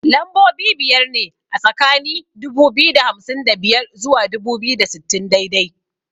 Lambobi biyar ne a tsakani dubu biyu da hamsin da biyar zuwa dubu biyu da sittin daidai